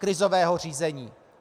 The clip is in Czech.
Krizového řízení.